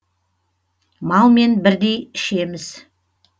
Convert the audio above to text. малмен бірдей ішеміз